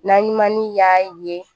Naɲumanni y'a ye